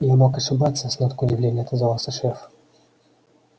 я мог ошибаться с ноткой удивления отозвался шеф